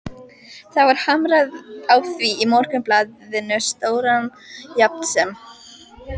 Það var hamrað á því í Morgunblaðinu stóra jafnt sem